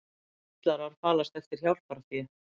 Svindlarar falast eftir hjálparfé